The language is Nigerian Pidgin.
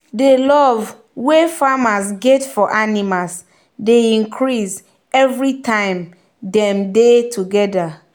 the love wey farmers get for animals dey increase everytime dem dey together.